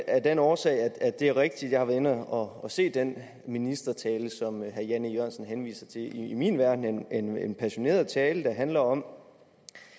af den årsag at det er rigtigt at jeg har været inde og se den ministertale som herre jan e jørgensen henviser til i min verden en en passioneret tale der handler om